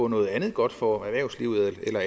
noget andet godt for at